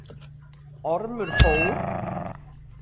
Ormur fór.